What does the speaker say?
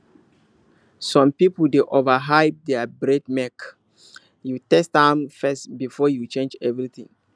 some people dey overhype their breedmake you test am first before you change everything